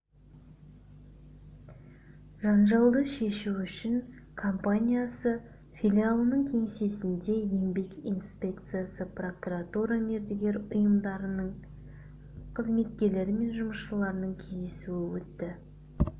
жанжалды шешу үшін компаниясы филиалының кеңсесінде еңбек инспекциясы прокуратура мердігер ұйымдарының қызметкерлері мен жүмысшылардың кездесуі өтті